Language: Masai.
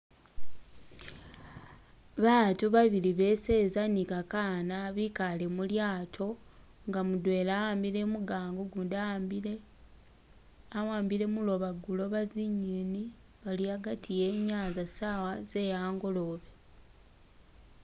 Batu babil beseza ni ka kaana bikale mulyato nga mudwena ahambile mugango gundi ahambile ahambile muloba guloba zinyeni bali hagati henyanza sawa ze hangolobe